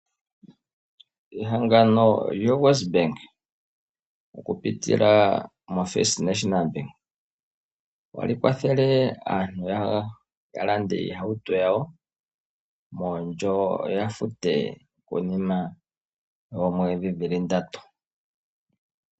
Ehangano lyoWestbank oku pitila mo FNB ohali kwathele aantu ya lande iihauto yawo koondjo yo ya fute konima yoomwedhi dhili ndatu.